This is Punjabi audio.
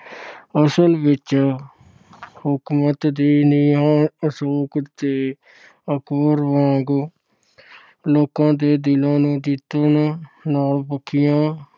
ਅਸਲ ਵਿੱਚ ਹਕੂਮਤ ਦੀਆਂ ਨੀਹਾਂ ਅਸ਼ੋਕ ਤੇ ਅਕਬਰ ਵਾਂਗ ਲੋਕਾਂ ਦੇ ਦਿਲਾਂ ਨੂੰ ਜਿੱਤਣ ਨਾਲ ਪੱਕੀਆਂ